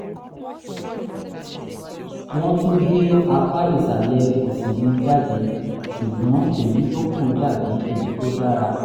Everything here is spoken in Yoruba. wọ́n tún gé apá ìsàlẹ̀ òsì mi jáde ṣùgbọ́n èyí tó kù dàbí èyí tó dára